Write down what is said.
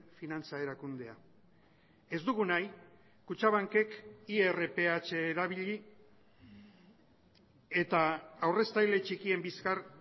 finantza erakundea ez dugu nahi kutxabankek irph erabili eta aurreztaile txikien bizkar